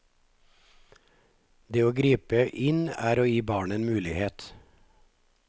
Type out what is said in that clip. Det å gripe inn er å gi barnet en mulighet.